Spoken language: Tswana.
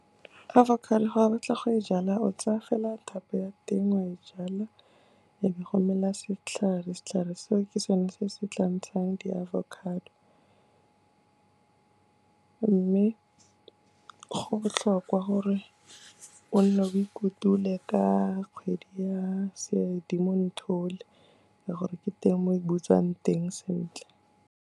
Avocado ga o batla go e jala o tsaya fela thapo ya teng, o a e jala, e be go mela setlhare, setlhare seo ke sone se se tla ntshang di-avocado. Mme go botlhokwa gore o nne o ikutulole ka kgwedi ya Sedimonthole ka gore ke teng mo e butswang teng sentle.